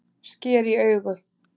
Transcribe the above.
Sker í augu